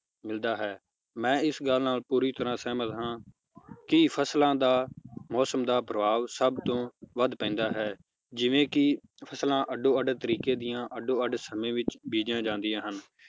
ਮਿਲਦਾ ਹੈ ਮੈ ਇਸ ਗੱਲ ਨਾਲ ਪੂਰੀ ਤਰਾਹ ਸਹਿਮਤ ਹਾਂ ਕਿ ਫਸਲਾਂ ਦਾ ਮੌਸਮ ਦਾ ਪ੍ਰਭਾਵ ਸਬ ਤੋਂ ਵੱਧ ਪੈਂਦਾ ਹੈ ਜਿਵੇ ਕਿ ਫਸਲਾਂ ਅੱਡੋ ਅੱਡ ਤਰੀਕੇ ਦੀਆਂ ਅੱਡੋ ਅੱਡ ਸਮੇ ਵਿਚ ਬੀਜੀਆਂ ਜਾਂਦੀਆਂ ਹਨ